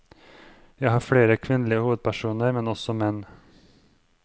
Jeg har flere kvinnelige hovedpersoner, men også menn.